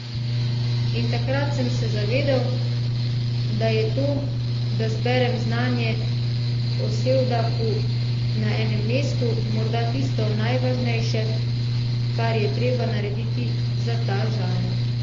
In takrat sem se zavedel, da je to, da zberem znanje o sevdahu na enem mestu, morda tisto najvažnejše, kar je treba narediti za ta žanr.